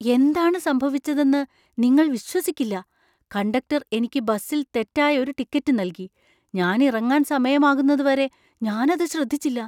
എന്താണ് സംഭവിച്ചതെന്ന് നിങ്ങൾ വിശ്വസിക്കില്ല! കണ്ടക്ടർ എനിക്ക് ബസിൽ തെറ്റായ ഒരു ടിക്കറ്റ് നൽകി, ഞാൻ ഇറങ്ങാൻ സമയമാകുന്നതുവരെ ഞാൻ അത് ശ്രദ്ധിച്ചില്ല!